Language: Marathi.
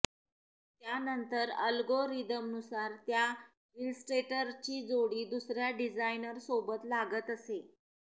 त्यानंतर अल्गोरिदमनुसार त्या इलस्ट्रेटरची जोडी दुसऱ्या डिझायनर सोबत लागत असे